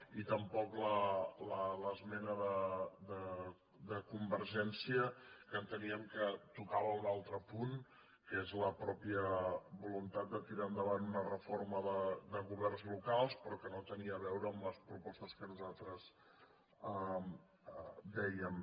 i tampoc l’esmena de convergència que enteníem que tocava un altre punt que és la pròpia vo·luntat de tirar endavant una reforma de governs locals però que no tenia a veure amb les propostes que nos·altres dèiem